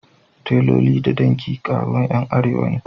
Taloli da danki aikin kerawan Yan arewa ne.